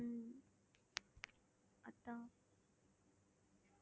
உம் அதான்